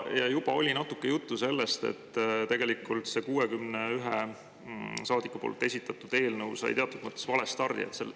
Ja juba oli natuke juttu sellest, et see 61 saadiku esitatud eelnõu sai teatud mõttes valestardi.